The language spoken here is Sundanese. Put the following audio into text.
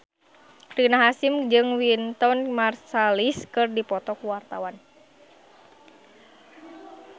Rina Hasyim jeung Wynton Marsalis keur dipoto ku wartawan